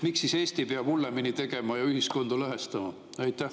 Miks siis Eesti peab hullemini ja ühiskonda lõhestama?